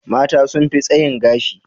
Mata sun fi tsayin gashi.